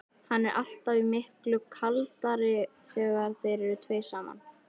Hann er alltaf miklu kaldari þegar þeir eru tveir saman.